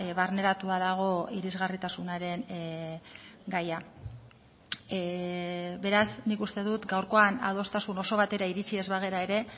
barneratua dago irisgarritasunaren gaia beraz nik uste dut gaurkoan adostasun oso batera iritsi ez bagara ere